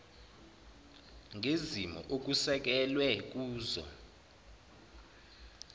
ngezimo okusekelwe kuzo